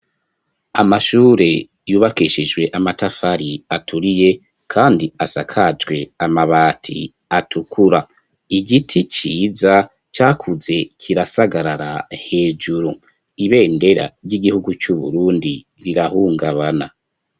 Amashure yubakeshijwe amatafari aturiye kandi asakajwe amabati atukura. Igiti ciza cakuze kirasagarara hejuru ibendera ry'igihugu cu Burundi rirahungabana.